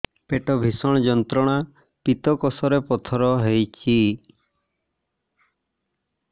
ପେଟ ଭୀଷଣ ଯନ୍ତ୍ରଣା ପିତକୋଷ ରେ ପଥର ହେଇଚି